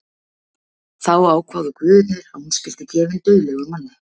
Þá ákváðu guðirnir að hún skyldi gefin dauðlegum manni.